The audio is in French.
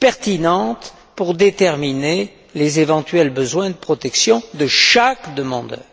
pertinentes pour déterminer les éventuels besoins de protection de chaque demandeur.